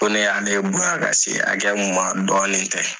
Ko ne y'ale bonya ka se hakɛya min ma dɔɔnin tɛ.